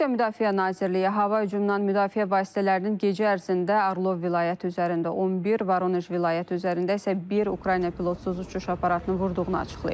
Rusiya Müdafiə Nazirliyi hava hücumundan müdafiə vasitələrinin gecə ərzində Arlov vilayəti üzərində 11, Voronej vilayəti üzərində isə bir Ukrayna pilotsuz uçuş aparatını vurduğunu açıqlayıb.